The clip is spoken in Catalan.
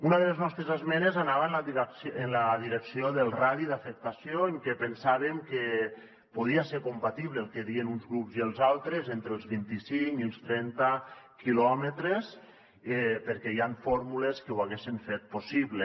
una de les nostres esmenes anava en la direcció del radi d’afectació en què pensàvem que podia ser compatible el que deien uns grups i els altres entre els vint i cinc i els trenta quilòmetres perquè hi han fórmules que ho haguessen fet possible